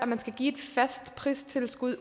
man skal give et fast pristilskud i